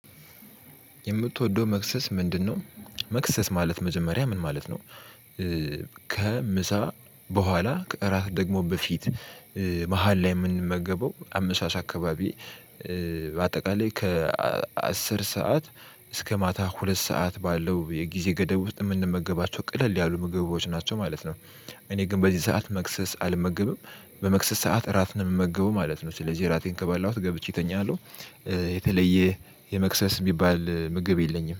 የምትወደው መክሰስ ምንድነው? መክሰስ ማለት መጀመሪያ ምን ማለት ነው። ከምሳ በኋላ ከእራት ደግሞ በፊት መሃል ላይ የምንመገበው አመሻሽ አካባቢ በአጠቃላይ ከአስር ሰዓት እስከ ማታ ሁለት ሰዓት ባለው የጊዜ ገደብ ውስጥ የምንመገባቸው ቀለል ያሉ ምግቦች ናቸው ማለት ነው። እኔ ግን በዚህ ሰዓት መክሰስ አልመገብም በመክሰስ ሰዓት እራት ነው የምመገበው ማለት ነው ስለዚህ እራቴን ከበላሁት ገብቼ እተኛለሁ። የተለየ የመክሰስ የሚባል ምግብ የለኝም